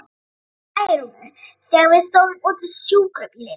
spurði ég Særúnu, þegar við stóðum úti við sjúkrabílinn.